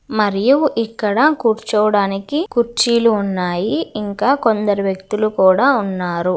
మరియు ఇక్కడ కూర్చోడానికి కుర్చీలు ఉన్నాయి. ఇంకా కొందరు వ్యక్తులు కూడా ఉన్నారు.